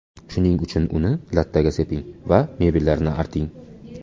Shuning uchun uni lattaga seping va mebellarni arting.